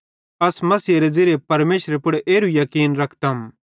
अस मसीहेरे ज़िरिये परमेशरे पुड़ एरू याकीन रखतम